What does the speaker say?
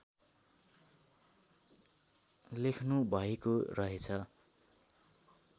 लेख्नुभएको रहेछ